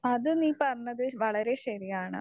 Speaker 1 അത് നീ പറഞ്ഞത് വളരെ ശരിയാണ്.